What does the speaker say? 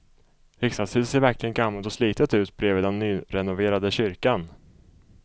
Riksdagshuset ser verkligen gammalt och slitet ut bredvid den nyrenoverade kyrkan.